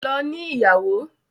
Lọ ní ìyàwó!